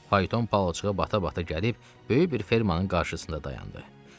Fayton palçığa bata-bata gəlib böyük bir fermannın qarşısında dayandı.